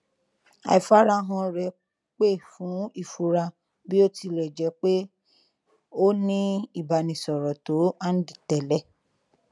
àìfarahàn rẹ pè fún ìfura bí ó ti lẹ jjẹ pé ó ní ìbánisọrọ tó hànde tẹlẹ